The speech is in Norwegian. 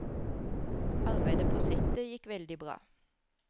Arbeidet på settet gikk veldig bra.